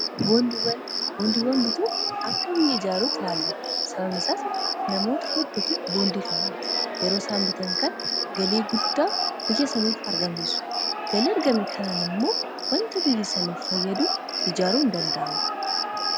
boondiiwwan bituun akka biyya ijaaruu tilaallama sababan isaas namoota heddutu boondiitannamuta yeroo saanbitan kan galii guddaa biyyasaniif argamsisu galii ergame kanaan immoo wanta biyyasaniif fayyaduu ijaaruu hin danda'amu